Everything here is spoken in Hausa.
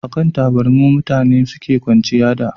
a kan taburma mutane suke kwanciya da